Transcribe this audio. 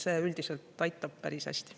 See üldiselt aitab päris hästi.